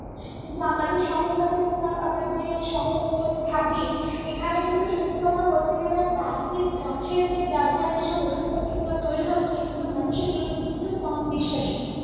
কিন্তু আমাদের শহর বাজারের বা আমরা যে শহর অঞ্চলে থাকি এইখানে কিন্তু সত্যি কথা বলতে গেলে দেখ গাছের যে ব্যবহারে যেসব ঔষধ পত্র গুলো তৈরি হচ্ছে কিন্তু মানুষ সেগুলোর প্রতি কিন্ত কম বিশ্বাসী